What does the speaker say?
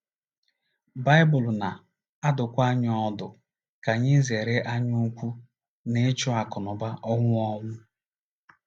Baịbụl na - adụkwa anyị ọdụ ka anyị zere anyaukwu na ịchụ akụnụba ọnwụ ọnwụ.